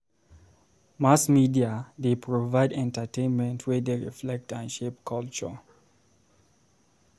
Mass media dey provide entertainment wey dey reflect and shape culture.